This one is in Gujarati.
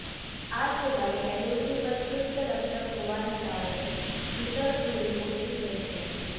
આ સિવાય એલઓસી પર ચુસ્ત રક્ષક હોવાને કારણે ઘુસણખોરી ઓછી થઈ છે